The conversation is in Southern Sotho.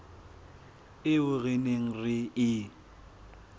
eo re neng re e